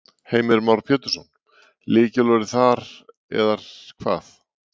Heimir Már Pétursson: Lykilorðið þar er hvað?